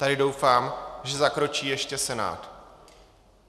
Tady doufám, že zakročí ještě Senát.